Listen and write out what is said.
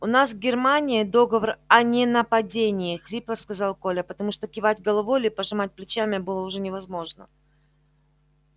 у нас с германией договор о ненападении хрипло сказал коля потому что кивать головой или пожимать плечами было уже невозможно